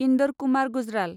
Inder Kumar Gujral